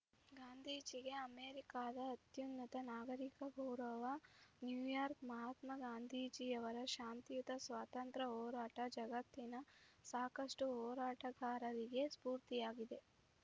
ಗಾಂಧೀಜಿಗೆ ಅಮೆರಿಕದ ಅತ್ಯುನ್ನತ ನಾಗರಿಕ ಗೌರವ ನ್ಯೂಯಾರ್ಕ್ ಮಹಾತ್ಮಾ ಗಾಂಧೀಜಿಯವರ ಶಾಂತಿಯುತ ಸ್ವಾತಂತ್ರ್ಯ ಹೋರಾಟ ಜಗತ್ತಿನ ಸಾಕಷ್ಟುಹೋರಾಟಗಾರರಿಗೆ ಸ್ಫೂರ್ತಿಯಾಗಿದೆ